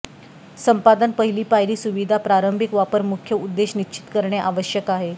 संपादन पहिली पायरी सुविधा प्रारंभिक वापर मुख्य उद्देश निश्चित करणे आवश्यक आहे